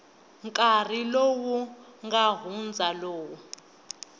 nkarhi lowu nga hundza lowu